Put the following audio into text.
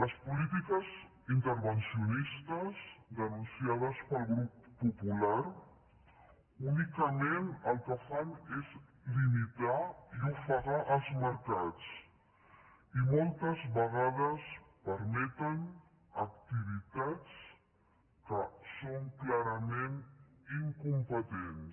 les polítiques intervencionistes denunciades pel grup popular únicament el que fan és limitar i ofegar els mercats i moltes vegades permeten activitats que són clarament incompetents